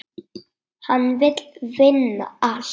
Hann vill vinna allt.